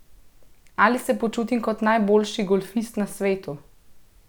Ali se počutim kot najboljši golfist na svetu?